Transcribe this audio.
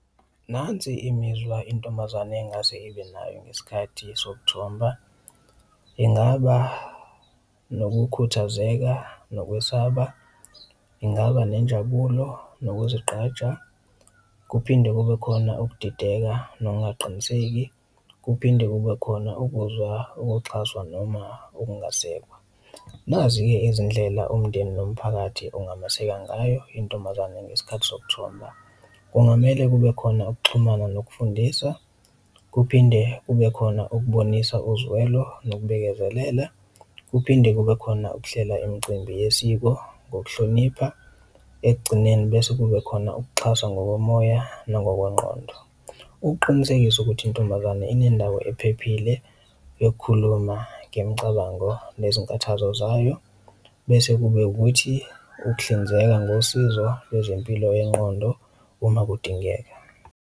Nansi imizwa intombazane engase ibe nayo ngesikhathi sokuthomba, ingaba nokukhuthazeka nokwesaba, ingaba nenjabulo nokuzigqaja, kuphinde kube khona ukudideka nokungaqiniseki, kuphinde kube khona ukuzwa ukuxhaswa noma ukungasekwa. Nazi-ke izindlela umndeni nomphakathi ungameseka ngayo intombazane ngesikhathi sokuthomba, kungamele kube khona ukuxhumana nokufundisa kuphinde kube khona ukubonisa uzwelo nokubekezelela. Kuphinde kube khona ukuhlela imicimbi yesiko ngokuhlonipha ekugcineni bese kube khona ukuxhaswa ngokomoya nangokwengqondo, ukuqinisekisa ukuthi intombazane inendawo ephephile yokukhuluma ngemicabango nezinkathazo zayo. Bese kube ukuthi ukuhlinzeka ngosizo lwezempilo yengqondo uma kudingeka.